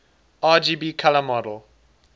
rgb color model